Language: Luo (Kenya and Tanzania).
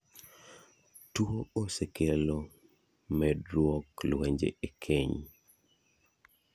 Tuo osekelo meduok lwenje e keny.